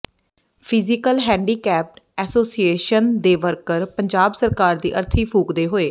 physical handicapped association ਦੇ worker Punjab ਸਰਕਾਰ ਦੀ ਅਰਥੀ ਫੂਕਦੇ ਹੋਏ